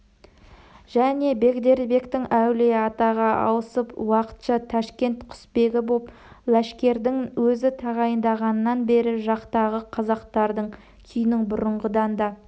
және бегдербектің әулиеатаға ауысып уақытша ташкент құсбегі боп ләшкәрдің өзі тағайындалғаннан бері жақтағы қазақтардың күйінің бұрынғыдан да